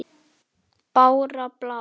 Bára blá!